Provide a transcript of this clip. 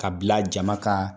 K'a bila jama ka